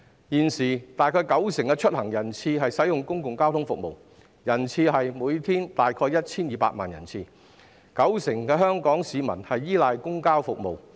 現時大約九成的出行人次使用公共交通服務，每天大約為 1,200 萬人次，九成香港市民均依賴公共交通服務。